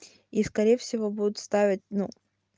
и скорее всего будут ставить ну